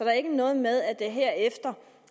er ikke noget med at der her efter